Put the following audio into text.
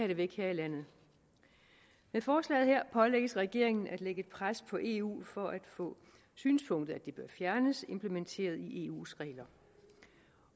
det væk her i landet med forslaget her pålægges regeringen at lægge pres på eu for at få synspunktet at det bør fjernes implementeret i eus regler